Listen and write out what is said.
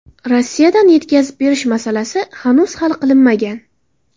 Rossiyadan yetkazib berish masalasi hanuz hal qilinmagan.